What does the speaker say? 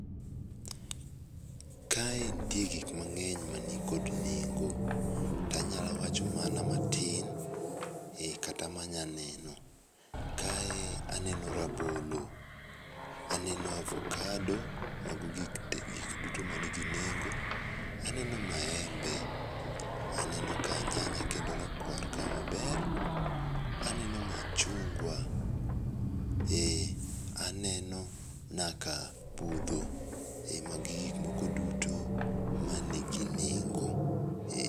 Ka e nitie gik mang'eny ma ni kod nengo to anya wacho mana ma tin kata ma nya neno. Kae aneno rabolo, aneno avocado mano gik te gik moko duto ma ni gi nengo. Aneno maembe, aneno ka nyanya rakwar ka maber, aneno machungwa aneno nyaka budho ma gi gik moko duto ma ni gi nengo.